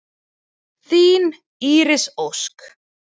Þín Íris Ósk.